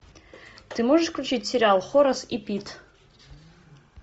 ты можешь включить сериал хорас и пит